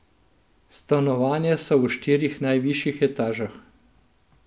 Stanovanja so v štirih najvišjih etažah.